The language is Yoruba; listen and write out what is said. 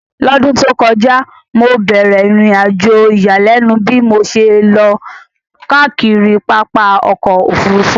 L'ọ́dún tó kọjá, mo bẹ̀ẹ̀rẹ̀ ìrìnàjò ìyàlẹ́nu bí mo ṣe lọ káàkiri pápá ọkọ̀ Òfurufú